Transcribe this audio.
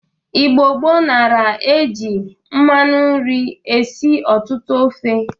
Igbo gboo nara eji mmanụ nri esi ọtụtụ ofe.